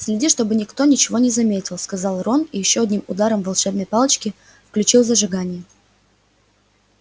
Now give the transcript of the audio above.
следи чтобы никто ничего не заметил сказал рон и ещё одним ударом волшебной палочки включил зажигание